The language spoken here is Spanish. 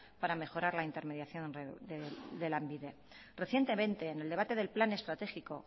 para mejorar la intermediación de lanbide recientemente en el debate del plan estratégico